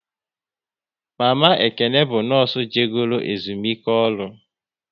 Mama Ekene bụ nọọsụ je goro ezumike ọrụ